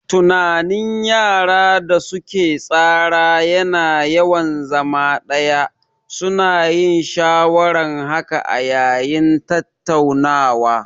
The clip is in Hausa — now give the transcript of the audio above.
Tunanin yara da su ke tsara ya na yawan zama ɗaya, su na yin shawaran haka a yayin tattaunawa